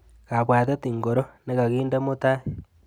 Kabwatet ingoro nikakande mutai?